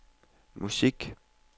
musik